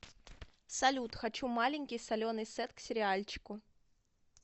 салют хочу маленький соленый сет к сериальчику